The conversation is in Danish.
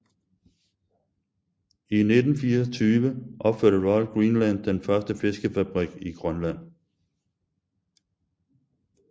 I 1924 opførte Royal Greenland den første fiskefabrik i Grønland